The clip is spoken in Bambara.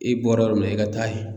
I bɔra yɔrɔ min na i ka taa yen.